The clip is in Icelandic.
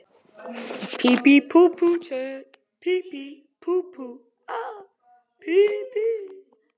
Hann játaði strax fyrir lögreglunni að þeir pabbi hefðu misnotað